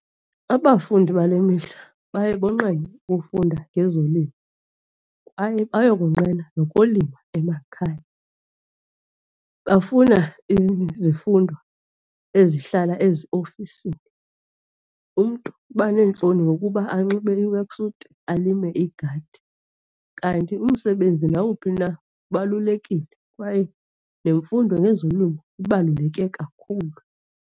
Abafundi bale mihla baye bonqena ukufunda ngezolimo kwaye bayakonqena nokulima emakhaya. Bafuna izifundo ezihlala eziofisini umntu. Uba neentloni nokuba anxibe i-work suit alime igadi, kanti umsebenzi nawuphi na ubalulekile kwaye nemfundo ngezolimo ibaluleke kakhulu.